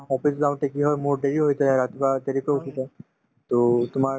office যাওঁতে কি হয় মোৰ দেৰি হৈছে ৰাতিপুৱা দেৰিকৈ উঠিছো to তোমাৰ